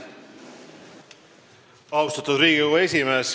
Austatud Riigikogu esimees!